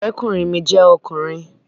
Ọ̀rẹ́kùnrin mi jẹ́ ọkùnrin